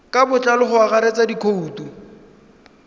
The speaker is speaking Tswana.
ka botlalo go akaretsa dikhoutu